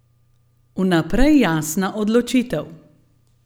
Vnaprej jasna odločitev.